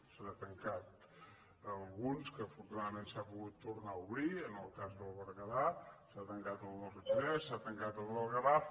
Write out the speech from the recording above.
se n’han tancat alguns que afortunadament s’han pogut tornar a obrir en el cas del berguedà s’ha tancat el del ripollès s’ha tancat el del garraf